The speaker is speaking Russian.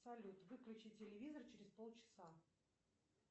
салют выключи телевизор через полчаса